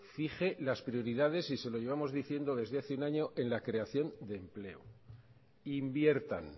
fije las prioridades y se lo llevamos diciendo desde hace un año en la creación de empleo inviertan